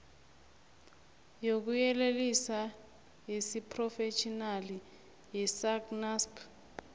yokuyelelisa yesiphrofetjhinali yesacnasp